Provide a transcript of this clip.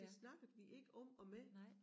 Det snakkede vi ikke om og med